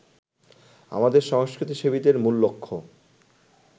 আমাদের সংস্কৃতিসেবীদের মূল লক্ষ্য